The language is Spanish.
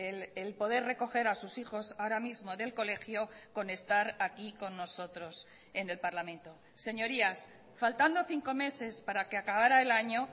el poder recoger a sus hijos ahora mismo del colegio con estar aquí con nosotros en el parlamento señorías faltando cinco meses para que acabara el año